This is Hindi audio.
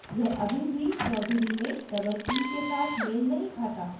यह अभी भी choudhuree में double e के साथ मेल नहीं खाता